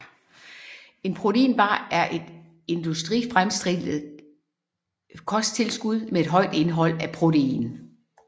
En proteinbar er et industrifremstillet kosttilskud med et højt indhold af protein